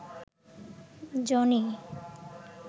Johnny